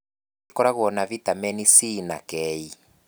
ĩkorogwo na vitameni C na K.